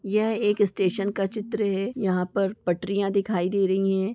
यह एक स्टेशन का चित्र है यहां पर पटरियां दिखाई दे रही हैं।